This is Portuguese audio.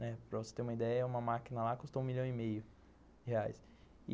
Né, para você ter uma ideia, uma máquina lá custa um milhão e meio de reais.